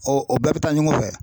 o bɛɛ bɛ taa ɲɔgɔn fɛ